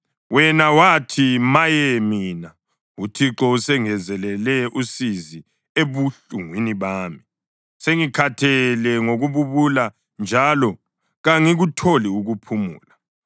Wena wathi, ‘Maye mina! UThixo usengezelele usizi ebuhlungwini bami; sengikhathele ngokububula njalo kangikutholi ukuphumula.’